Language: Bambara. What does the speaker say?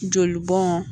Joli bɔn